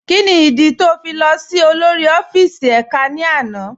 Kíni ìdí tó ń fi lọ sí olórí ọfíìsì èká ní àná?